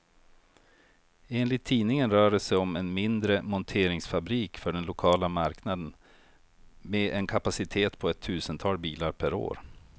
Enligt tidningen rör det sig om en mindre monteringsfabrik för den lokala marknaden, med en kapacitet på ett tusental bilar per år.